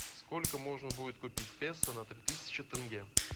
сколько можно будет купить песо на три тысячи тенге